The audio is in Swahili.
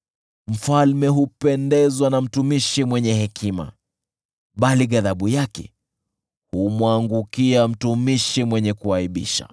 Mfalme hupendezwa na mtumishi mwenye hekima, bali ghadhabu yake humwangukia mtumishi mwenye kuaibisha.